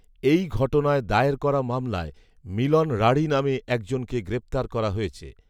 এই ঘটনায় দায়ের করা মামলায় মিলন রাঢ়ী নামে একজনকে গ্রেপ্তার করা হয়েছে